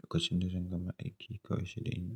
lokacin da zan gama aiki kawai sanda in.